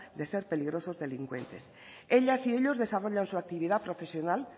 de ser peligrosos delincuentes ellas y ellos desarrollan su actividad profesional